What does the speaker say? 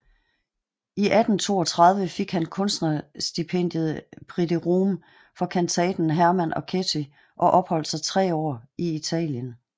I 1832 fik han kunstnerstipendiet Prix de Rome for kantaten Hermann og Ketty og opholdt sig tre år i Italien